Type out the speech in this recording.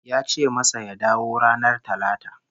Ya ce masa ya dawo ranar Talata